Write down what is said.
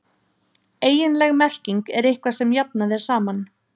Eiginleg merking er eitthvað sem jafnað er saman.